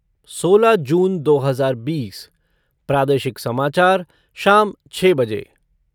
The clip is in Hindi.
सोलह जून दो हज़ार बीस प्रादेशिक समाचार शाम छः बजे